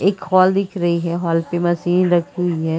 एक हॉल दिख रही है। हॉल पे मशीन रखी हुई है।